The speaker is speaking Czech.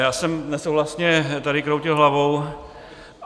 Já jsem nesouhlasně tady kroutil hlavou.